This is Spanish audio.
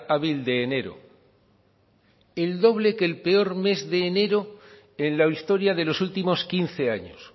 hábil de enero el doble que el peor mes de enero en la historia de los últimos quince años